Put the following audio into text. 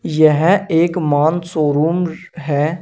यह एक मान शोरूम है।